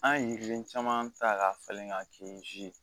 An ye yiriden caman ta k'a falen ka kɛ ye